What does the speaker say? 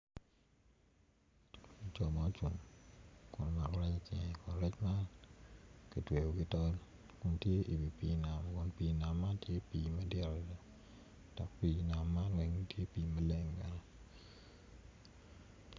Jo ma ocung kun omako rec man kun rec man kitweyo ki tol kun tye i wi pii nam ma tye madit adada dok pii nam man tye maleng adada.